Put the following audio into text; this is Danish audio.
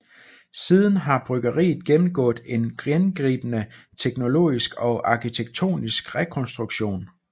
Siden har bryggeriet gennemgået en gennemgribende teknologisk og arkitektonisk rekonstruktion